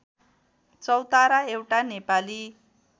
चौतारा एउटा नेपाली